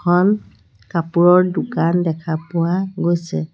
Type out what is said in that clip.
এখন কাপোৰৰ দোকান দেখা পোৱা গৈছে।